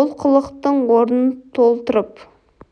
олқылықтың орнын толтырып